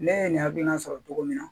Ne ye nin hakilina sɔrɔ cogo min na